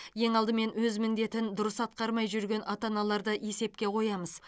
ең алдымен өз міндетін дұрыс атқармай жүрген ата аналарды есепке қоямыз